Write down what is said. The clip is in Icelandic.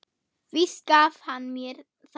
Víst gaf hann mér það